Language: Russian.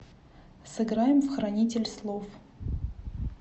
сыграем в хранитель слов